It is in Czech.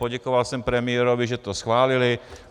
Poděkoval jsem premiérovi, že to schválili.